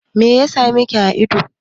Meya same ka a ido?